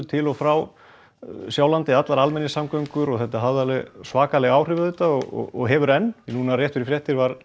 til og frá Sjálandi stöðvuð allar almenningssamgöngur og þetta hafði alveg svakaleg áhrif auðvitað og hefur enn núna rétt fyrir fréttir var